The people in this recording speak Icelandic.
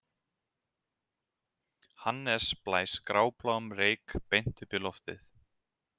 Hannes blæs grábláum reyk beint upp í loftið